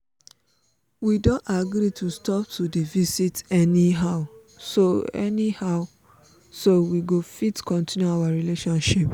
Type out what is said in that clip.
we don agree to stop to dey visit anyhow so anyhow so we go fit continue our relationship